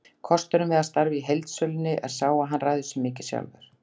Kosturinn við að starfa í heildsölunni er sá að hann ræður sér mikið sjálfur.